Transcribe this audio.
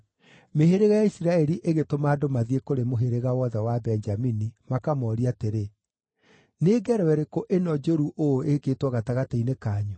Mĩhĩrĩga ya Isiraeli ĩgĩtũma andũ mathiĩ kũrĩ mũhĩrĩga wothe wa Benjamini, makamoorie atĩrĩ, “Nĩ ngero ĩrĩkũ ĩno njũru ũũ ĩĩkĩtwo gatagatĩ-inĩ kanyu?